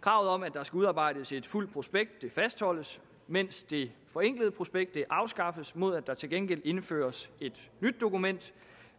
kravet om at der skal udarbejdes et fuldt prospekt fastholdes mens det forenklede prospekt afskaffes mod at der til gengæld indføres et nyt dokument